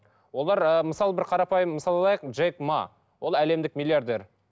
олар ы мысалы бір қарапайым мысал алайық джек маа ол әлемдік миллиардер